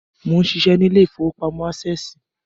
Mó ń ṣiṣẹ́ ní ilé ìfowópamọ́ Ásẹ̀sì